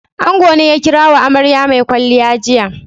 Ango ne ya kira wa amarya mai kwalliya jiya.